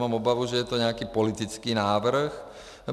Mám obavu, že je to nějaký politický návrh.